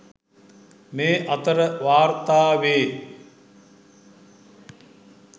මේ අතර වාර්තා වේ.